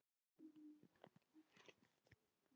Sjá honum bregða fyrir!